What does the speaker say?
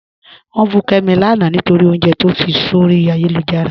Wọn bù Kẹ́mi láńà nítorí ọ̀unjẹ̀ tó fí sọ̀rí ayélujára.